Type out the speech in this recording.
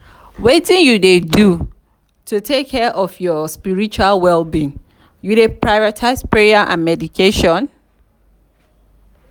wetin you dey do to take care of your spiritual well-being you dey prioritize prayer and meditation?